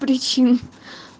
причины